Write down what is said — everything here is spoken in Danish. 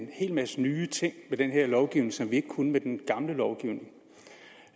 en hel masse nye ting med den her lovgivning som vi ikke kunne med den gamle lovgivning